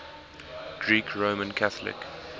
greek roman catholic